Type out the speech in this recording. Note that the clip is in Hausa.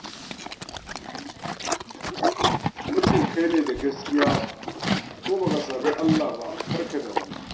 Muddin kai ne da gaskiya ko ba ka saɓi Allah ba, kar ka damu.